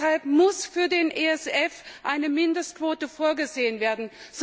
Deshalb muss für den ESF eine Mindestquote vorgesehen werden.